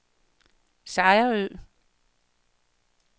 Sejerø